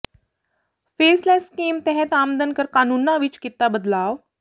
faceless scheme ਤਹਿਤ ਆਮਦਨ ਕਰ ਕਾਨੂੰਨਾਂ ਵਿੱਚ ਕੀਤਾ ਬਦਲਾਵ